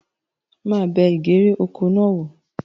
Màá bẹ ìgèrè oko náà wò